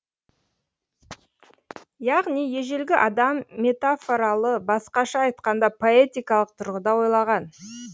яғни ежелгі адам метафоралы басқаша айтқанда поэтикалық тұрғыда ойлаған